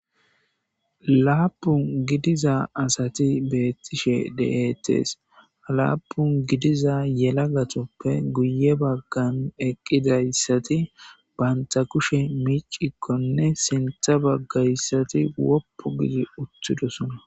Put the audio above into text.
laapun gidiza asati beettishe de7etees halaapun gidiza yela gatoppe guye baggan eqqidayssati banta kushe miicikkonne sintha baggayssati woppu gidi uttidosona